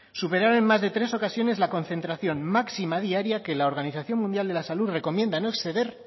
superaron en más de tres ocasiones la concentración máxima diaria que la organización mundial de la salud recomienda no exceder